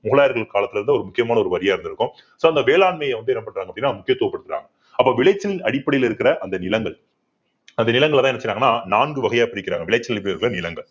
முகலாயர்கள் காலத்துல இருந்தே ஒரு முக்கியமான ஒரு வரியா இருந்திருக்கும் so அந்த வேளாண்மையை வந்து என்ன பண்றாங்க அப்படின்னா முக்கியத்துவப்படுத்தறாங்க அப்ப விளைச்சலின் அடிப்படையில இருக்கற அந்த நிலங்கள் அந்த நிலங்களைதான் என்ன செய்யறாங்கன்னா நான்கு வகையா பிரிக்கிறாங்க விளைச்சல்